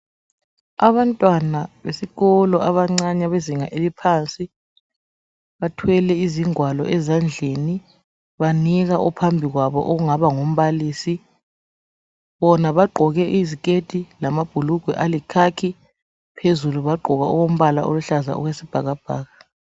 Abantwana besikolo abancane bezinga eliphansi bathwele izingwalo ezandleni banika ophambi kwabo ongaba ngumbalisi bona bagqoke iziketi lamabhulugwe ayi khakhi phezulu bagqoka okombala oluhlaza okwesibhakabhaka.